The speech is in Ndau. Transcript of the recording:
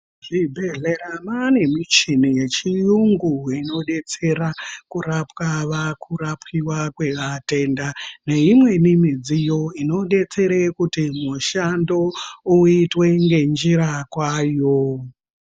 Muzvibhendlera mwaane muchini yechiyungu inodetsera kurapwa va kurapiwa vatenda. Neimweni midziyo inodetsera kuti mushando uitwe ngenjira kwayo.